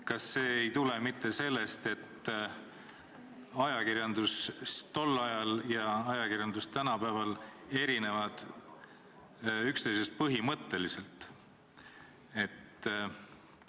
Kas see ei tule mitte sellest, et ajakirjandus tol ajal ja ajakirjandus tänapäeval erinevad üksteisest põhimõtteliselt?